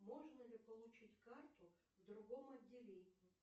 можно ли получить карту в другом отделении